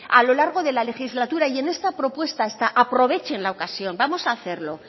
a lo largo de la legislatura y en esta propuesta está aprovechen la ocasión vamos a hacerlo